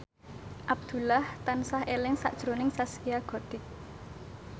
Abdullah tansah eling sakjroning Zaskia Gotik